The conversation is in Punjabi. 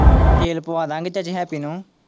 ਤੇਲ ਪਵਾਂ ਦੇਵਾਂਗੇ ਤੁਹਾਡੇ ਹੈਪੀ ਨੂੰ।